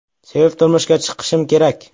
Sevib turmushga chiqishim kerak.